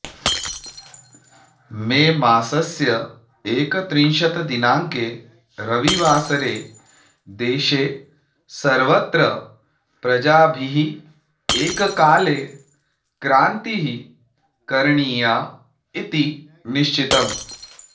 मेमासस्य एकत्रिंशत् दिनाङ्के रविवासरे देशे सर्वत्र प्रजाभिः एककाले क्रान्तिः करणीया इति निश्चितम्